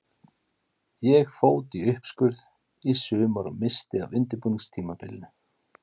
Ég fót í uppskurð í sumar og missti af undirbúningstímabilinu.